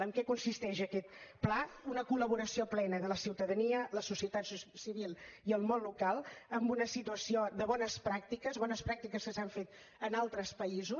en què consisteix aquest pla una col·laboració plena de la ciutadania la societat civil i el món local en una situació de bones pràctiques bones pràctiques que s’han fet en altres països